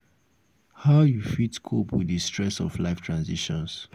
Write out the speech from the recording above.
how you um fit cope with di stress of life transitions?